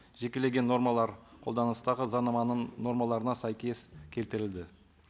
жекелеген нормалар қолданыстағы заңнаманың нормаларына сәйкес келтірілді